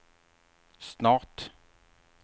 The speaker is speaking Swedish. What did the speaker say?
snart